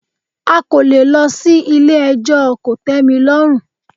A kò lè lọ sí ilé ẹjọ́ kòtẹ́milọ́rùn.